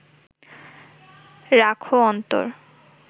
রাখহ অন্তর